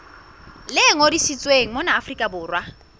le ngodisitsweng mona afrika borwa